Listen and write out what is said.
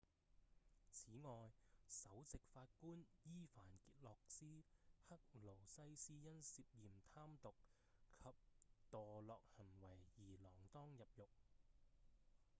此外首席法官依凡傑洛斯・克勞西斯因涉嫌貪瀆及墮落行為而鋃鐺入獄